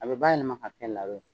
A bɛ ban ninna ka kɛ narɛ ye.